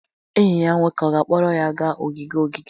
Enyi ya nwoke ọ ga-akpọrọ ya gaa ogige ogige?